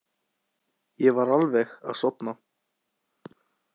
Ég var alveg að sofna.